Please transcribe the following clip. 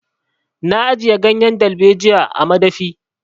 Na ajiye ganyen dalbejiyar a madafi.